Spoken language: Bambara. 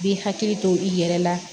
Bi hakili to i yɛrɛ la